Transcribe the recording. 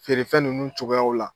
Feere ninnu cogoyaw la.